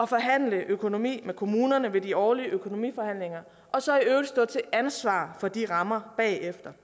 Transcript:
forhandle økonomi med kommunerne ved de årlige økonomiforhandlinger og så i øvrigt stå til ansvar for de rammer bagefter